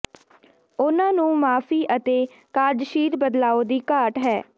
ਉਨ੍ਹਾਂ ਨੂੰ ਮਾਫ਼ੀ ਅਤੇ ਕਾਰਜਸ਼ੀਲ ਬਦਲਾਓ ਦੀ ਘਾਟ ਹੈ